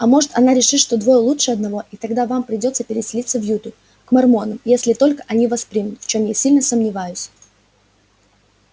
а может она решит что двое лучше одного и тогда вам придётся переселиться в юту к мормонам если только они вас примут в чём я сильно сомневаюсь